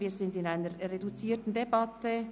Wir führen eine reduzierte Debatte.